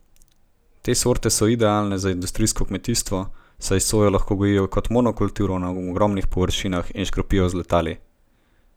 Te sorte so idealne za industrijsko kmetijstvo, saj sojo lahko gojijo kot monokulturo na ogromnih površinah in škropijo z letali.